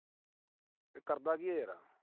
ਇਹ ਕਰਦਾ ਕੀ ਆ ਯਾਰ।